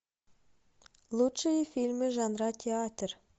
лучшие фильмы жанра театр